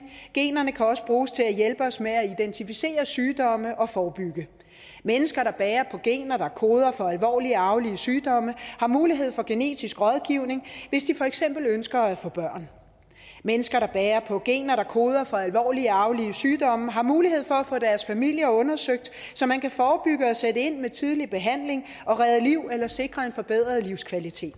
generne kan også bruges til at hjælpe os med at identificere sygdomme og forebygge mennesker der bærer på gener som koder for alvorlige arvelige sygdomme har mulighed for genetisk rådgivning hvis de for eksempel ønsker at få børn mennesker der bærer på gener som koder for alvorlige arvelige sygdomme har mulighed for at få deres familie undersøgt så man kan forebygge og sætte ind med tidlig behandling og redde liv eller sikre en forbedret livskvalitet